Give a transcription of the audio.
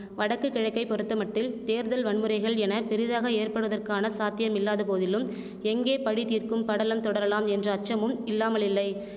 வடக்குகிழக்கை பொறுத்தமட்டில் தேர்தல் வன்முறைகள் என பெரிதாக ஏற்படுவதற்கான சாத்தியமில்லாதபோதிலும் எங்கே பழிதீர்க்கும் படலம் தொடரலாம் என்ற அச்சமும் இல்லாமலில்லை